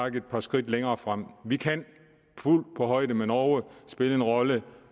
et par skridt yderligere fremad vi kan fuldt på højde med norge spille en rolle